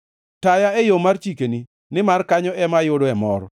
Taya e yo mar chikeni, nimar kanyo ema ayudoe mor.